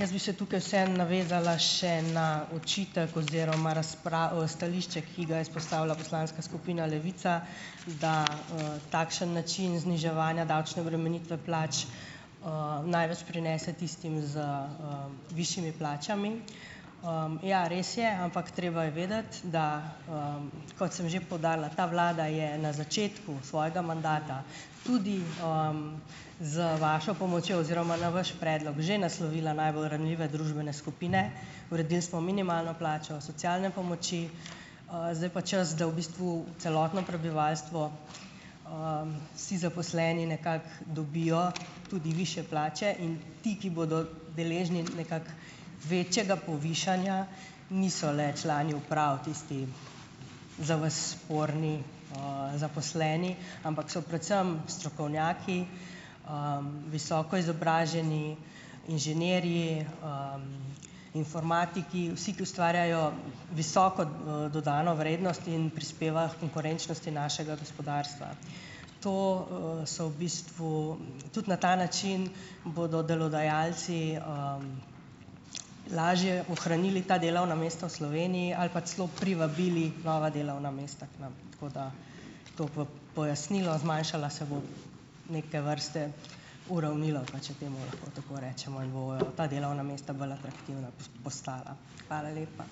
Jaz bi se tukaj vseeno navezala še na očitek oziroma stališče, ki ga je izpostavila poslanska skupina Levica, da, takšen način zniževanja davčne obremenitve plač največ prinese tistim z, višjimi plačami. Ja, res je. Ampak treba je vedeti, da kot sem že poudarila, ta vlada je na začetku svojega mandata tudi z vašo pomočjo oziroma na vaš predlog že naslovila najbolj ranljive družbene skupine, uredili smo minimalno plačo, socialne pomoči, zdaj je pa čas, da v bistvu celotno prebivalstvo, vsi zaposleni nekako dobijo tudi višje plače in ti, ki bodo deležni nekako večjega povišanja, niso le člani uprav, tisti, za vas sporni, zaposleni, ampak so predvsem strokovnjaki, visoko izobraženi inženirji informatiki vsi, ki ustvarjajo visoko, dodano vrednost in prispevajo h konkurenčnosti našega gospodarstva. To, so v bistvu tudi na ta način bodo delodajalci lažje ohranili ta delovna mesta v Sloveniji ali pa celo privabili nova delovna mesta k nam. Tako da tako v pojasnilo. Zmanjšala se bo neke vrste uravnilovka, če temu lahko tako rečemo. In bojo ta delovna mesta bolj atraktivna postala. Hvala lepa.